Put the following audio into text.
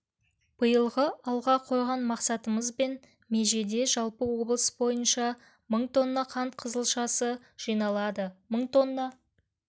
биылғы алға қойған мақсатымыз бен межеде жалпы облыс бойынша мың тонна қант қызылшасы жиналады мың тонна